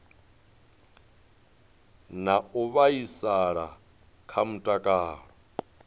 na u vhaisala kha mutakalo